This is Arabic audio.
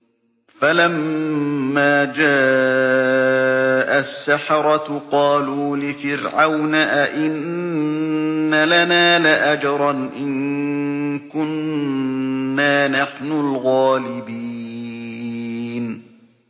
فَلَمَّا جَاءَ السَّحَرَةُ قَالُوا لِفِرْعَوْنَ أَئِنَّ لَنَا لَأَجْرًا إِن كُنَّا نَحْنُ الْغَالِبِينَ